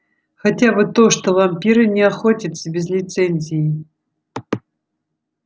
хотя бы то что вампиры не охотятся без лицензии